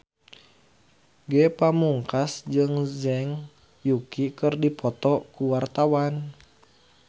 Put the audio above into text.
Ge Pamungkas jeung Zhang Yuqi keur dipoto ku wartawan